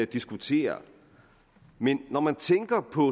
diskutere men når man tænker på